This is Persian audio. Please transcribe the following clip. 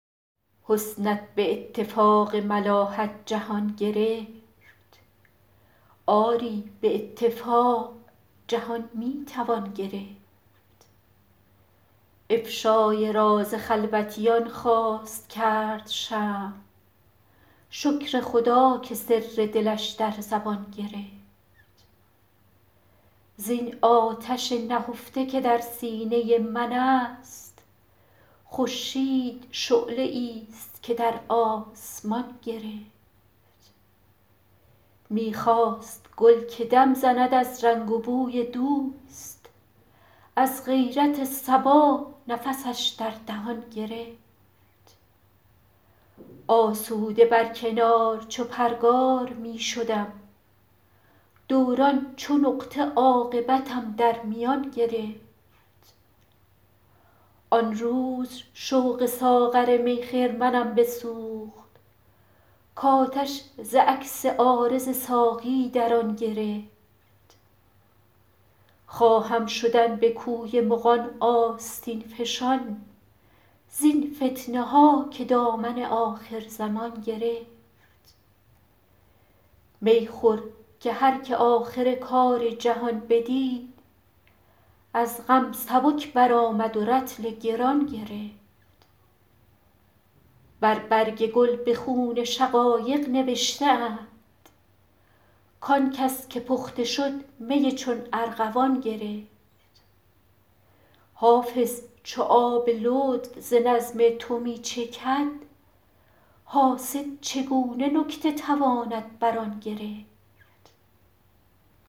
حسنت به اتفاق ملاحت جهان گرفت آری به اتفاق جهان می توان گرفت افشای راز خلوتیان خواست کرد شمع شکر خدا که سر دلش در زبان گرفت زین آتش نهفته که در سینه من است خورشید شعله ای ست که در آسمان گرفت می خواست گل که دم زند از رنگ و بوی دوست از غیرت صبا نفسش در دهان گرفت آسوده بر کنار چو پرگار می شدم دوران چو نقطه عاقبتم در میان گرفت آن روز شوق ساغر می خرمنم بسوخت کآتش ز عکس عارض ساقی در آن گرفت خواهم شدن به کوی مغان آستین فشان زین فتنه ها که دامن آخرزمان گرفت می خور که هر که آخر کار جهان بدید از غم سبک برآمد و رطل گران گرفت بر برگ گل به خون شقایق نوشته اند کآن کس که پخته شد می چون ارغوان گرفت حافظ چو آب لطف ز نظم تو می چکد حاسد چگونه نکته تواند بر آن گرفت